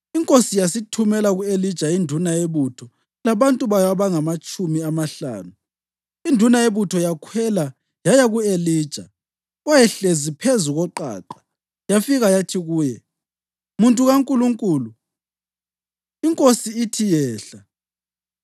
Inkosi yasithumela ku-Elija induna yebutho labantu bayo abangamatshumi amahlanu. Induna yebutho yakhwela yaya ku-Elija, owayehlezi phezu koqaqa, yafika yathi kuye, “Muntu kaNkulunkulu, inkosi ithi, ‘Yehla!’ ”